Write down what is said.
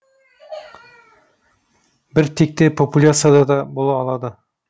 бір текті популяцияда да бола алады